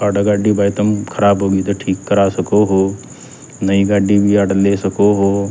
आड़ह गाड़ी भाई तम खराब होगी तो ठीक करा सको हो नई गाड़ी भी आड़ह ले सको हो।